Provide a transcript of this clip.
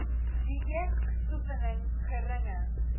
dieet oefening geringe